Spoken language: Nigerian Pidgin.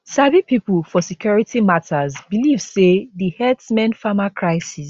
sabi pipo for security matters believe say di herdsmenfarmer crises